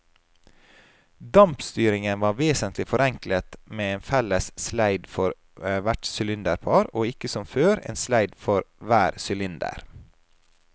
Dampstyringen var vesentlig forenklet med en felles sleid for hvert sylinderpar og ikke som før, en sleid for hver sylinder.